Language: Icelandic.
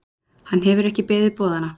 Hann hefur ekki beðið boðanna.